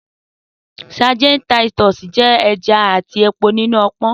Sadíìnì titus jẹ ẹja ati epo ninu ọpọn.